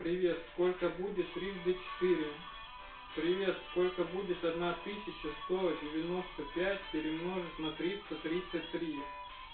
привет сколько будет трижды четыре привет сколько будет одна тысяча сто девяноста пять перемножить на триста тридцать три